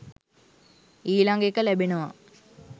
ඊළඟ එක ලැබෙනවා